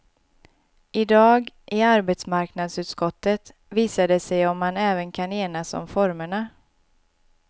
I dag, i arbetsmarknadsutskottet, visar det sig om man även kan enas om formerna.